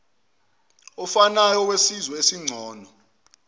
ofanayo wesizwe esingcono